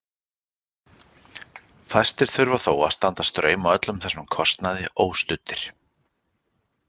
Fæstir þurfa þó að standa straum af öllum þessum kostnaði óstuddir.